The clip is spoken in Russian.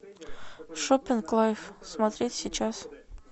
шоппинг лайф смотреть сейчас